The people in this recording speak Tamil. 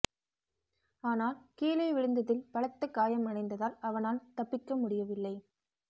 ஆனால் கீழே விழுந்ததில் பலத்த காயம் அடைந்ததால் அவனால் தப்பிக்க முடியவில்லை